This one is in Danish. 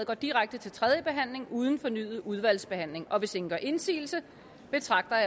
går direkte til tredje behandling uden fornyet udvalgsbehandling og hvis ingen gør indsigelse betragter jeg